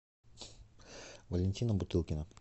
валентина бутылкина